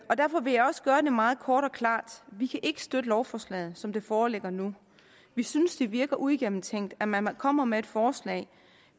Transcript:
vil jeg også gøre det meget kort og klart vi kan ikke støtte lovforslaget som det foreligger nu vi synes det virker uigennemtænkt at man kommer med et forslag